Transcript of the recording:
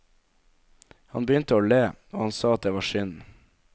Han begynte å le, og han sa at det var synd.